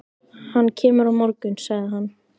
Hann kemur á morgun, sagði hann.